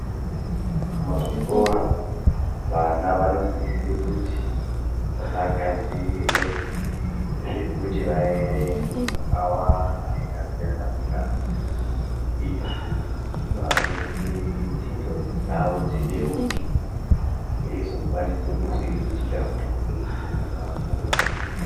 Muzvikora vana vanosise kuti vagadziriewe zvekuti vaerenge zvakawamda zvakasiyana siyana izvi zvinoadetsere kuti ndxondo dzawo dzibeuke veizokwanise kuzviriritira muupenyu vakura.